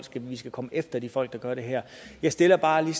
at vi skal komme efter de folk der gør det her jeg stiller bare lige